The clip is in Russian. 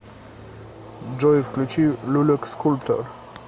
джой включи люлюк скульптор